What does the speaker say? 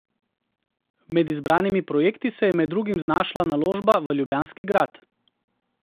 Med izbranimi projekti se je med drugim znašla naložba v ljubljanski grad.